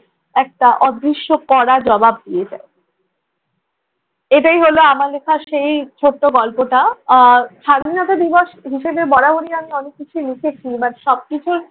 একটা অদৃশ্য কড়া জবাব দিয়ে যায়। এটাই হলো আমার লেখা সেই ছোট্ট গল্পটা। স্বাধীনতা দিবস হিসেবে বরাবরই আমি অনেক কিছুই লিখেছি but সবকিছুর